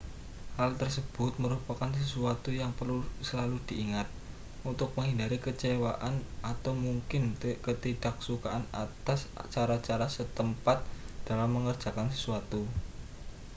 hal tersebut merupakan sesuatu yang perlu selalu diingat untuk menghindari kekecewaan atau mungkin ketidaksukaan atas cara-cara setempat dalam mengerjakan sesuatu